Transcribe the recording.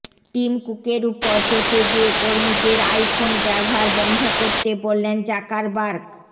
team কুকের উপর চটে গিয়ে কর্মীদের আই ফোন ব্যবহার বন্ধ করতে বললেন জাকারবার্গ